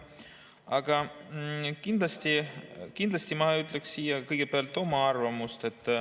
Aga kindlasti ma ütlen kõigepealt oma arvamuse.